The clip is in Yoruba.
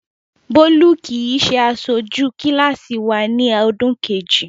Bólú kì í ṣe aṣojú kíláàsì wa ní ọdún kejì.